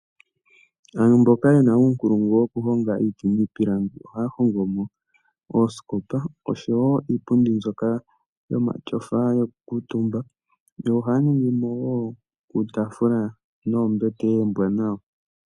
Aantu mboka yena uunkulungu wokuhonga iiti niipilangi, ohaya hongo mo oosikopa osho wo iipundi mbyoka yomatyofa yokukuutumba, yo ohaya ningimo wo uutaafula noombete oombwanawa.